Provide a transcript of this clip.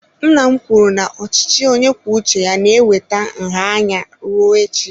Nna m kwuru na ochichi onye kwuo uche ya na-eweta nha anya rue echi.